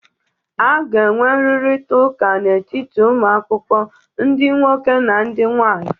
A ga-enwe nrụrịta ụka n'etiti ụmụ akwụkwọ ndị nwoke na ndị nwaanyị